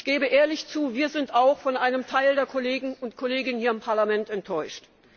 Ich gebe ehrlich zu, wir sind auch von einem Teil der Kolleginnen und Kollegen hier im Parlament enttäuscht.